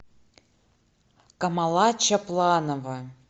камала чапланова